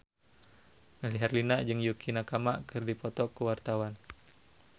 Melly Herlina jeung Yukie Nakama keur dipoto ku wartawan